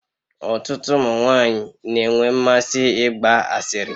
Ọtụtụ ụmụ nwanyị na-enwe mmasị ịgba asịrị.